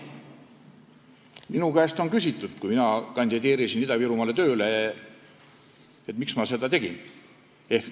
Minu käest küsiti, kui ma Ida-Virumaale tööle kandideerisin, miks ma seda teen.